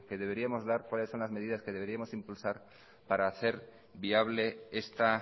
deberíamos dar cuáles son las medidas que deberíamos impulsar para hacer viable esta